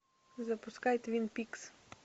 запускай твин пикс